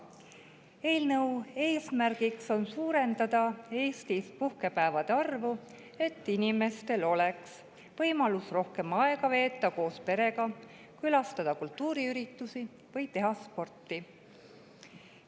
Eelnõu eesmärk on suurendada puhkepäevade arvu Eestis, et inimestel oleks võimalus veeta rohkem aega koos perega, külastada kultuuriüritusi või teha sporti.